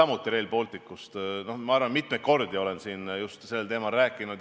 Ma olen mitmeid kordi just sellel teemal rääkinud.